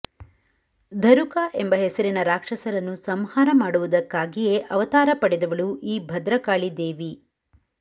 ಧರುಕಾ ಎಂಬ ಹೆಸರಿನ ರಾಕ್ಷಸರನ್ನು ಸಂಹಾರ ಮಾಡುವುದಕ್ಕಾಗಿಯೇ ಅವತಾರ ಪಡೆದವಳು ಈ ಭದ್ರಕಾಳಿ ದೇವಿ